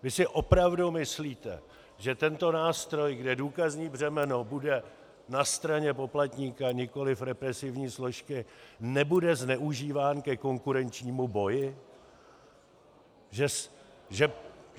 Vy si opravdu myslíte, že tento nástroj, kde důkazní břemeno bude na straně poplatníka, nikoli represivní složky, nebude zneužíván ke konkurenčnímu boji?